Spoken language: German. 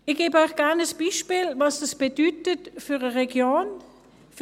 Ich gebe Ihnen gerne ein Beispiel, was es für eine Region bedeutet: